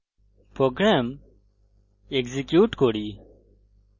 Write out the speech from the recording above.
program execute করি